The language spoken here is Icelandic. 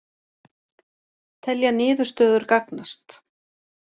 Telja niðurstöður gagnast